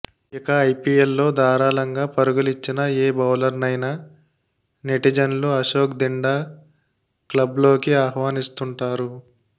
ఇక ఐపీఎల్లో ధారళంగా పరుగులిచ్చిన ఏ బౌలర్నైనా నెటిజన్లు అశోక్ దిండా క్లబ్లోకి ఆహ్వానిస్తుంటారు